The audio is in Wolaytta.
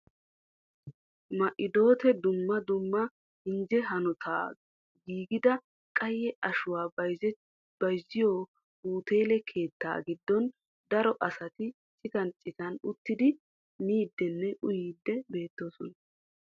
Ma"iddote dumma dumma injje hanota giigida qayye ashuwaa bayzziyo uteele keettaa giddon daro asati citan citan uttidi miidinne uyyidi beettoosona.